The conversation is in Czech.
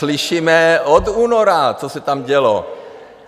Slyšíme od února, co se tam dělo.